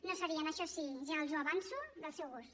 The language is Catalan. no serien això sí ja els ho avanço del seu gust